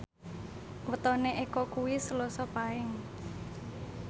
wetone Eko kuwi Selasa Paing